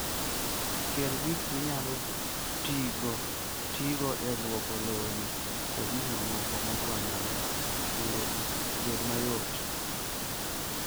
Kel gik minyalo tigo e lwoko lewni kod gik mamoko madwarore mondo obed mayot.